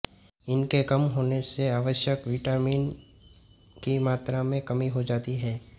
इनके कम होने से आवश्यक विटामिन की मात्रा में कमी हो जाती है